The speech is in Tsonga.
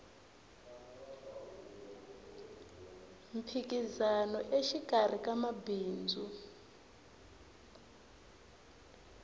mphikizano exikarhi ka mabindzu